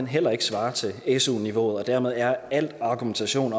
heller ikke svarer til su niveauet og dermed er al argumentation